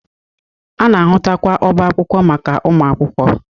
A na-ahụtakwa ọba akwụkwọ maka ụmụakwụkwọ.